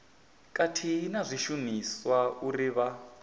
khathihi na zwishumiswa uri vha